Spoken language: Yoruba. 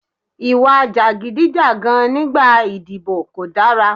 Ìwà jàgídíjàgan nígbà ìdìbò kò dára.